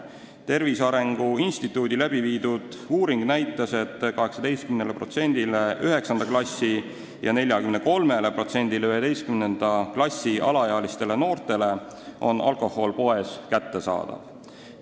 Tervise Arengu Instituudi uuring näitas, et 18%-le 9. klassi ja 43%-le 11. klassi alaealistele noortele on alkohol poes kättesaadav.